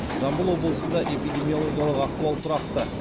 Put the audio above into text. жамбыл облысында эпидемиологиялық ахуал тұрақты